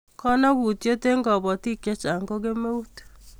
kamangutiet eng' kabatiek chechang' ko kemeut